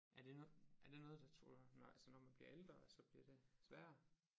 Er det er det noget der altså når man bliver ældre at så bliver det sværere